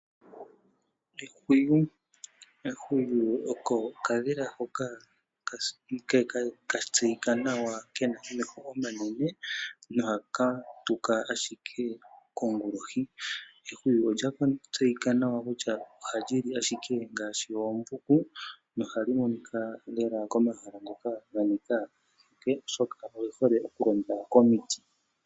Ehwiyu, ehwiyu oko okadhila hoka katseyika nawa kena omeho omanene, na ohaka tuka ashike kongulohi. Ehwiyu olya tseyika nawa kutya ohali li ashike ngaashi oombuku, nohali monika lela komahala ngoka ganika omiti, oshoka oge hole oku londa komiti.